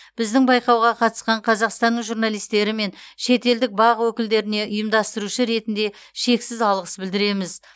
біздің байқауға қатысқан қазақстанның журналистері мен шетелдік бақ өкілдеріне ұйымдастырушы ретінде шексіз алғыс білдіреміз